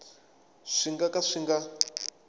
swi nga ka swi nga